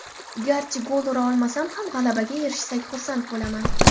Garchi gol ura olmasam ham, g‘alabaga erishsak, xursand bo‘laman.